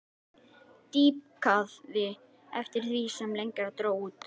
Dýpkaði eftir því sem lengra dró út.